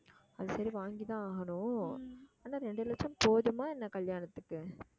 அது சரி வாங்கித்தான் ஆகணும் ஆனா ரெண்டு லட்சம் போதுமா என்ன கல்யாணத்துக்கு